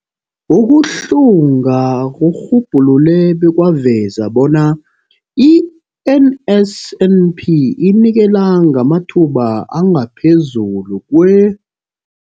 Ukuhlunga kurhubhulule bekwaveza bona i-NSNP inikela ngamathuba angaphezulu kwe-